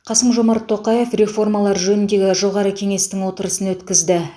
қасым жомарт тоқаев реформалар жөніндегі жоғары кеңестің отырысын өткізді